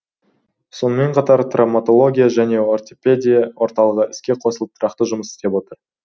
сонымн қатар травматология және ортопедия орталығы іске қосылып тұрақты жұмыс істеп тұр